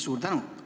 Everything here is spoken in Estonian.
Suur tänu!